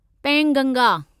Penganga